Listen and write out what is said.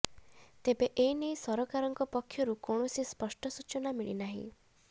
ତେବେ ଏନେଇ ସରକାରଙ୍କ ପକ୍ଷରୁ କୌଣସି ସ୍ପଷ୍ଟ ସୂଚନା ମିଳି ନାହିଁ